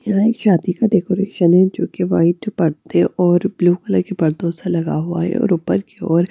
यहां एक शादी का डेकोरेशन है जो कि वाइट पर्दे और ब्लू कलर के पर्दों से लगा हुआ है और ऊपर की और--